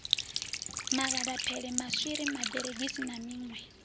magadaphele maswiri maberegisi na miṋwe